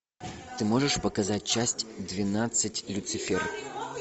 ты можешь показать часть двенадцать люцифер